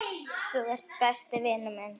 Þú ert besti vinur minn.